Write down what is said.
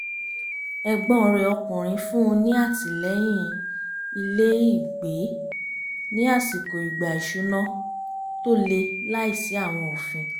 ẹ̀gbọ́n rẹ̀ ọkùnrin fún un ní àtìlẹ́yìn ilé-ìgbé ní àsìkò ìgbà ìṣúná tó le láìsí àwọn òfin